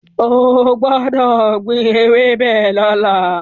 O gbọ́dọ̀ gbin ewébẹ̀ lọ́la.